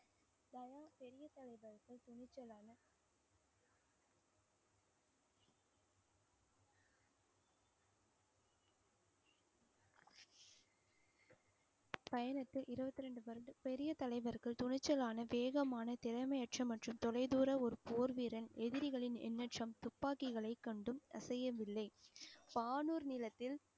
பயணத்தை இருபத்தி ரெண்டு வருட பெரிய தலைவர்கள் துணிச்சலான வேகமான திறமையற்ற மற்றும் தொலைதூர ஒரு போர் வீரன் எதிரிகளின் எண்ணற்ற துப்பாக்கிகளை கண்டும் அசையவில்லை. வானூர் நிலத்தில்